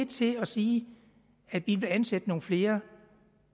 til at sige at de vil ansætte nogle flere